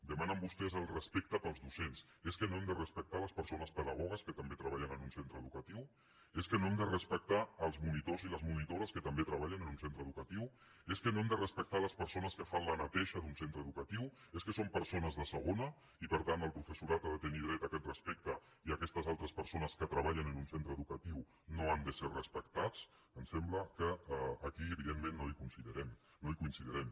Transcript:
demanen vostès el respecte pels docents és que no hem de respectar les persones pedagogues que també treballen en un centre educatiu és que no hem de respectar els monitors i les monitores que també treballen en un centre educatiu és que no hem de respectar les persones que fan la neteja d’un centre educatiu és que són persones de segona i per tant el professorat ha de tenir dret a aquest respecte i aquestes altres persones que treballen en un centre educatiu no han de ser respectats em sembla que aquí evidentment no coincidirem